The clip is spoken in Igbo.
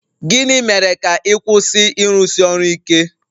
Gịnị mere ka ị kwụsị ịrụsi ọrụ ike?